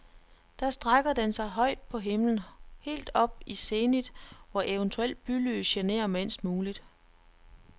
Da strækker den sig højt på himlen, helt op i zenit, hvor eventuelt bylys generer mindst muligt.